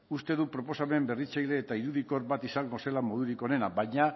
uste dut proposamen berritzaile eta irudikor bat izango zela modurik onena baina